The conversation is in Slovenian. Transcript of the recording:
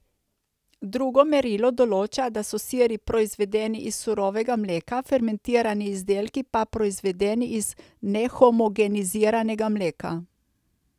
Drugo merilo določa, da so siri proizvedeni iz surovega mleka, fermentirani izdelki pa proizvedeni iz nehomogeniziranega mleka.